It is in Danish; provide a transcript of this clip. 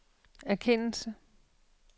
erkendelse